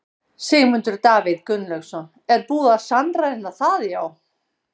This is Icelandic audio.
Sigmundur Davíð Gunnlaugsson: Er búið að sannreyna það já?